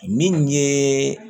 Min ye